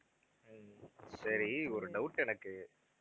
ஹம் சரி ஒரு doubt எனக்கு